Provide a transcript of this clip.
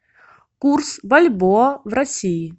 курс бальбоа в россии